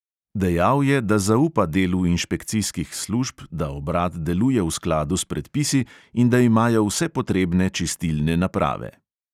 Dejal je, da zaupa delu inšpekcijskih služb, da obrat deluje v skladu s predpisi in da imajo vse potrebne čistilne naprave.